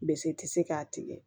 Bise kisi k'a tigɛ